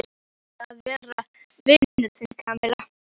Ég vil að við verðum vinir, Kamilla.